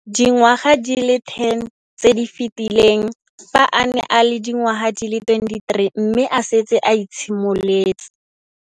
Dingwaga di le 10 tse di fetileng, fa a ne a le dingwaga di le 23 mme a setse a itshimoletse.